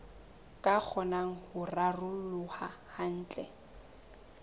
ka kgonang ho raroloha kantle